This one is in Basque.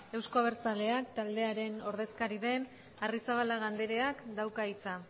euzko abertzaleak taldearen ordezkaria den arrizabalaga andreak dauka hitza